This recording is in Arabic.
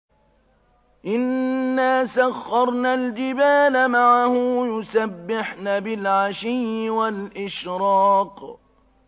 إِنَّا سَخَّرْنَا الْجِبَالَ مَعَهُ يُسَبِّحْنَ بِالْعَشِيِّ وَالْإِشْرَاقِ